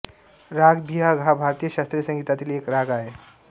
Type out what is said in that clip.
राग बिहाग हा भारतीय शास्त्रीय संगीतातील एक राग आहे